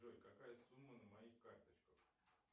джой какая сумма на моих карточках